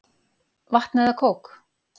Vatn eða kók?